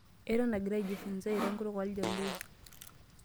Eton egira aijifunza airo enkutuk ooljaluo.